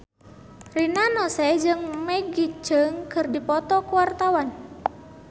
Rina Nose jeung Maggie Cheung keur dipoto ku wartawan